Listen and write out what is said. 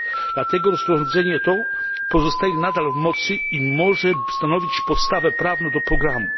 Dlatego rozporządzenie to pozostaje nadal w mocy i może stanowić podstawę prawną dla programu.